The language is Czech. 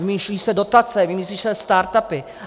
Vymýšlejí se dotace, vymýšlí se startupy.